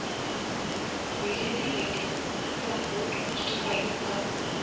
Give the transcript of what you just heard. वीरे दी वेडिंग'चं bold poster पाहिलंत का?